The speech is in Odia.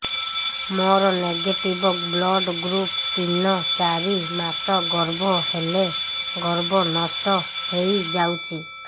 ମୋର ନେଗେଟିଭ ବ୍ଲଡ଼ ଗ୍ରୁପ ତିନ ଚାରି ମାସ ଗର୍ଭ ହେଲେ ଗର୍ଭ ନଷ୍ଟ ହେଇଯାଉଛି